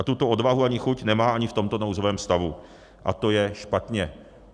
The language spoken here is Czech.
A tuto odvahu ani chuť nemá ani v tomto nouzovém stavu, a to je špatně.